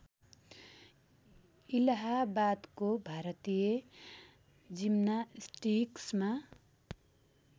इलाहाबादको भारतीय जिम्नास्टिक्समा